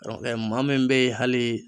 maa min bɛ hali